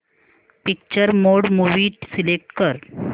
picture mode movie select कर